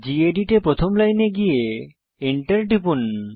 gedit এ প্রথম লাইনে গিয়ে এন্টার টিপুন